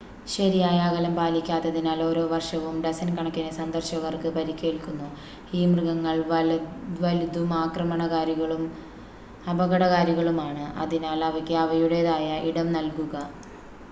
ശരിയായ അകലം പാലിക്കാത്തതിനാൽ ഓരോ വർഷവും ഡസൻ കണക്കിന് സന്ദർശകർക്ക് പരിക്കേൽക്കുന്നു ഈ മൃഗങ്ങൾ വലുതും ആക്രമണകാരികളും അപകടകാരികളുമാണ് അതിനാൽ അവയ്ക്ക് ആവയുടേതായ ഇടം നൽകുക